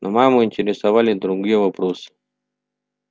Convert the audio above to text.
но маму интересовали другие вопросы